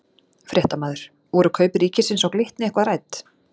Fréttamaður: Voru kaup ríkisins á Glitni eitthvað rædd?